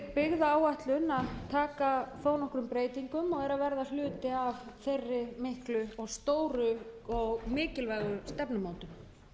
byggðaáætlun að taka þó nokkrum breytingum og er að verða hluti af þeirri miklu stóru og mikilvægu stefnumótun